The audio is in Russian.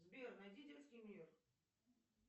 сбер найди детский мир